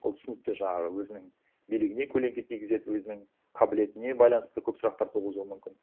ол түсінікті жаңағы өзінің билігіне көленке тигізеді өзінің қабілетіне байланысты көп сұрақтар туғызуы мүмкін